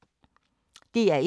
DR1